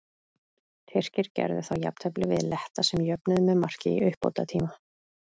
Tyrkir gerðu þá jafntefli við Letta sem jöfnuðu með marki í uppbótartíma.